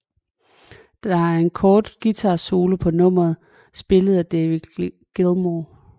Der er en kort guitarsolo på nummeret spillet af David Gilmour